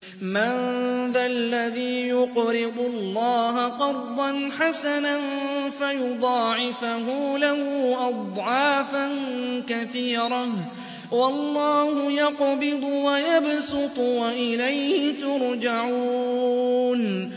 مَّن ذَا الَّذِي يُقْرِضُ اللَّهَ قَرْضًا حَسَنًا فَيُضَاعِفَهُ لَهُ أَضْعَافًا كَثِيرَةً ۚ وَاللَّهُ يَقْبِضُ وَيَبْسُطُ وَإِلَيْهِ تُرْجَعُونَ